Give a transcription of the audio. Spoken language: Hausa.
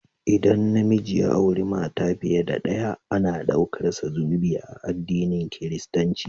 ldan na miji ya auri mata fiye da ɗaya, ana ɗaukarsa zunubi a adinin kiristinci.